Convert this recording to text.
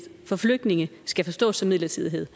for flygtninge skal forstås som midlertidighed